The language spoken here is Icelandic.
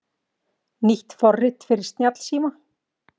Nýtt forrit fyrir snjallsíma